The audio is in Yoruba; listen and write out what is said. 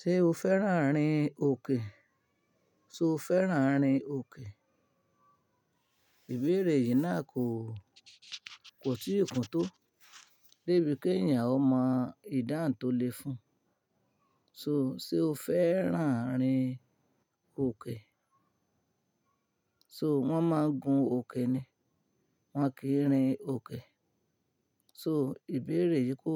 Ṣé o fẹ́ràn rin òkè? Ṣé o fẹ́ràn rin òkè? Ìbéèrè yìí náà kò, kò tí kùntó débi kí èyàn ó mọ ìdáhùn to le fún. So, ṣe o fẹ́ràn rin òkè? So wọ́n máa ń gun òkè ni, wọ́n kì í rin òkè. So ìbéèrè yìí kò,